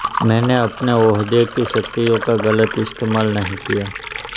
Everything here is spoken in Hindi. मैंने अपने ओहदे की शक्तियों का गलत इस्तेमाल नहीं किया